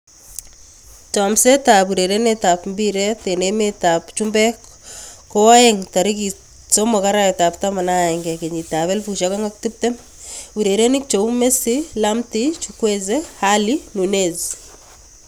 Chomset ab urerenet ab mbiret eng emet ab chumbek koaeng' 03.11.2020:Messi, Lamptey, Chukwueze, Alli, Nunez